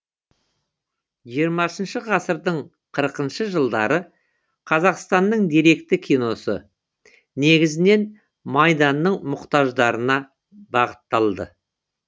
жиырмасыншы ғасырдың қырықыншы жылдары қазақстанның деректі киносы негізінен майданның мұқтаждарына бағытталды